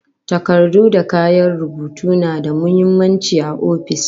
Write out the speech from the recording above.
Takardu da kayan rubutu na da muhimmanci a ofis